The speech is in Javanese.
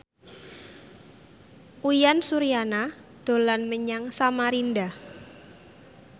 Uyan Suryana dolan menyang Samarinda